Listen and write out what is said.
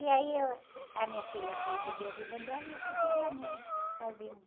E aí, eu, a minha filha foi viver a vida dela e eu fui viver a minha, sozinha.